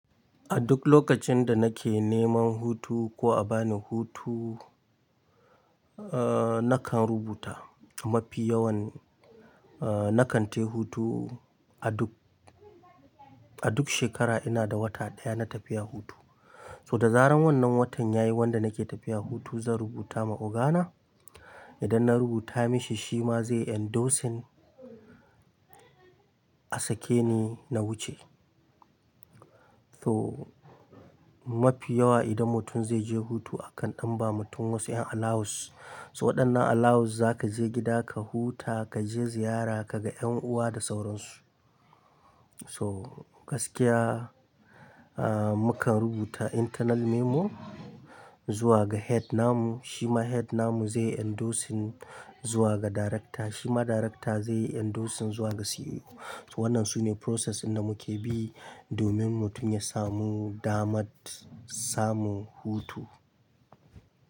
A duk lokacin da nake neman hutu ko a bani hutu, eh nakan rubuta. Mafi yawan eh nakan tai hutu a duk, a duk shekara ina da wata ɗaya na tafiya hutu. So da zaran wannan watan yayi wanda nake tafiya hutu, zan rubuta ma ogana. Idan na rubuta mashi shi ma zai endorsing a sake ni na wuce. So mafi yawa idan mutum zai je hutu akan ɗan ba mutum wasu yan allowance. So waɗannan allowance za ka je gida ka huta, ka je ziyara, ka ga ƴan uwa da sauransu. So gaskiya eh mu kan rubuta internal memo zuwa ga head namu, shi ma head namu zai endorsing zuwa ga director, shi ma director zai endorsing zuwa ga CEO. Wannan sune process ɗin da muke bi domin mutum ya samu damar samun hutu.